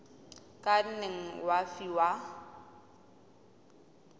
o ka nne wa fiwa